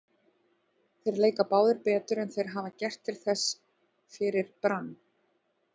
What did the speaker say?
Þeir leika báðir betur en þeir hafa gert til þessa fyrir Brann.